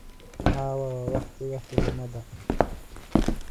caawa waa wakhtiga filimada